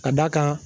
Ka d'a kan